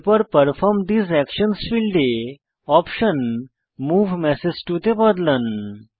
এরপর পারফর্ম ঠেসে একশনস ফীল্ডে অপশন মুভ মেসেজ টো তে বদলান